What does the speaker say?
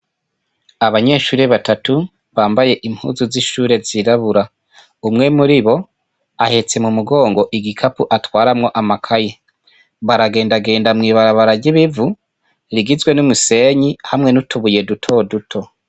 Abanyeshuri batatu bambaye impuzu zi shuri zirabura umwe muribo ahetse mu mugongo igikapu atwaramwo amakaye baragenda genda mw'ibarabara ry'ibivu rigizwe n'imisenyi hamwe n'utubuye duto duto.